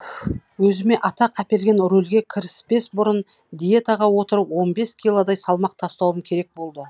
өзіме атақ әперген рольге кіріспес бұрын диетаға отырып он бес килодай салмақ тастауым керек болды